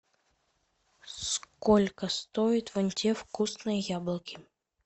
сколько стоит вон те вкусные яблоки